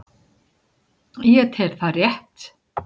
Ég tel það rétt.